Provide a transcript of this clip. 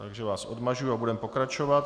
Takže vás odmažu a budeme pokračovat.